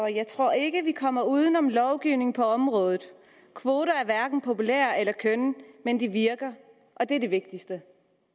jeg tror ikke vi kommer uden om lovgivning på området kvoter er hverken populære eller kønne men de virker og det er det vigtigste